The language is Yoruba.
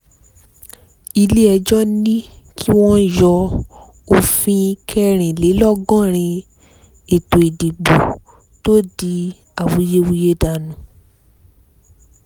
ilé-ẹjọ́ ní kí wọ́n yọ òfin kẹrìnlélọ́gọ́rin ètò ìdìbò tó di awuyewuye dànù